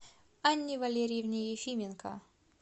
анне валериевне ефименко